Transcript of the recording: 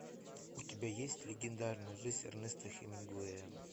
у тебя есть легендарная жизнь эрнеста хемингуэя